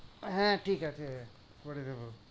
হ্যাঁ ঠিকাছে করেদেব।